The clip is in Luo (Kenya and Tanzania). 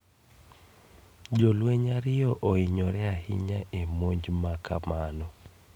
Jolweny ariyo oinyore ahinya e monj makamano